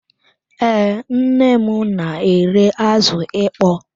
Ee, nnem n'ere azụ ịkpọ